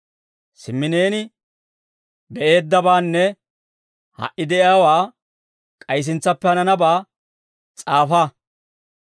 Simmi neeni be'eeddabaanne ha"i de'iyaawaa, k'ay sintsappe hananabaa s'aafa.